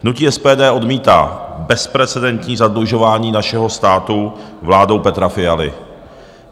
Hnutí SPD odmítá bezprecedentní zadlužování našeho státu vládou Petra Fialy.